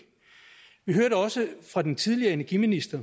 vi hørte også fra den tidligere energiminister